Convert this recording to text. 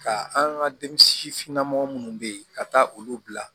Ka an ka denmisɛnnin namɔgɔ minnu bɛ yen ka taa olu bila